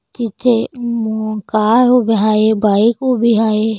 इथे म गाय उभी हाय बाइक उभी हाय.